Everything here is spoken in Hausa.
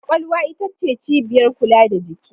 Kwakwalwa ita ce cibiyar kula da jiki.